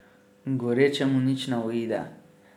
Gorečemu nič ne uide.